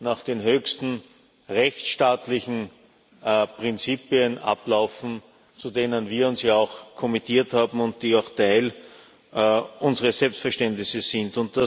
nach den höchsten rechtsstaatlichen Prinzipien ablaufen, zu denen wir uns ja auch verpflichtet haben und die auch Teil unseres Selbstverständnisses sind.